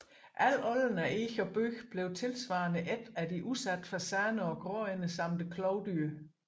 Al olden af eg og bøg blev tilsvarende ædt af de udsatte fasaner og gråænder samt klovdyrene